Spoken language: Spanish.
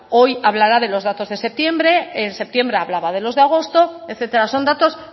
hoy hablará de los datos de septiembre en septiembre hablaba de los de agosto etcétera son datos